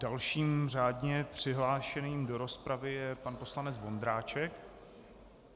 Dalším řádně přihlášeným do rozpravy je pan poslanec Vondráček.